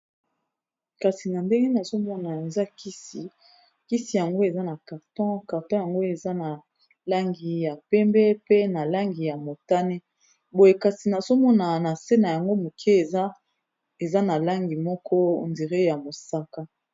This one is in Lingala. Kasi na ndenge nazomona eza kisi kisi yango eza na carton carton yango eza na langi ya pembe, pe na langi ya motane, boye kasi nazomona na se na yango moke eza na langi moko ndire ya mosaka